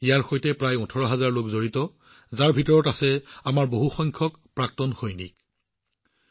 ইয়াৰ সৈতে প্ৰায় ১৮০০০ লোক জড়িত যত আমাৰ বহু সংখ্যক প্ৰাক্তন সৈনিকও আছে